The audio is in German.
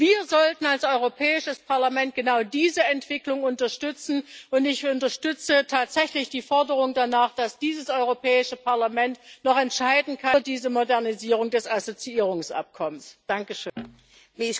Wir sollten als Europäisches Parlament genau diese Entwicklung unterstützen, und ich unterstütze tatsächlich die Forderung danach, dass dieses Europäische Parlament noch über diese Modernisierung des Assoziierungsabkommens entscheiden kann.